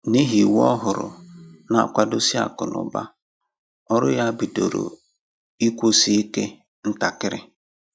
N’ihi iwu òhùrù na-akwado si akụ́ na ụ̀ba, ọrụ ya bidoro ịkwụsị ike ntakiri